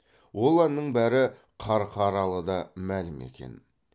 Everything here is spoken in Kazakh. ол әннің бәрі қарқаралыда мәлім екен